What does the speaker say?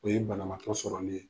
O ye banamatɔ sɔrɔli ye.